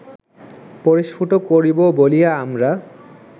পরিস্ফুট করিব বলিয়া আমরা